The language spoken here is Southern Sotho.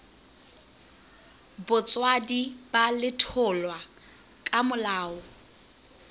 botswadi ba letholwa ka molao